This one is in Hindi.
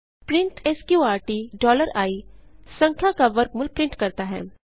प्रिंट स्कॉर्ट i संख्या का वर्गमूल प्रिंट करता है